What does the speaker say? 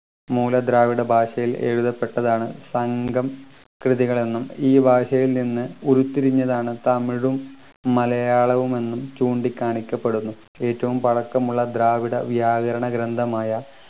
മൂല ദ്രാവിഡ ഭാഷയിൽ എഴുതപ്പെട്ടതാണ് സംഘം കൃതികൾ എന്നും ഈ ഭാഷയിൽ നിന്ന് ഉരുത്തിരിഞ്ഞതാണ് തമിഴും മലയാളവും എന്നും ചൂണ്ടിക്കാണിക്കപ്പെടുന്നു ഏറ്റവും പഴക്കമുള്ള ദ്രാവിഡ വ്യാകരണ ഗ്രന്ഥമായ